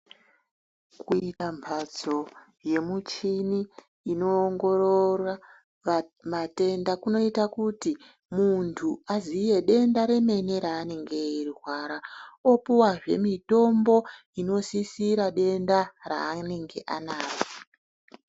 Kuita mphatso yemuchini inoongorora matenda kunoita kuti munthu aziye denda remene raanenge eirwara, opuwazve mitombo inosisira denda raanenge anaro.